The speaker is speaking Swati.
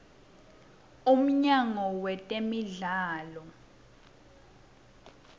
umnyango wetemidlalo